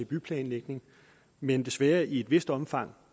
byplanlægning men desværre i et vist omfang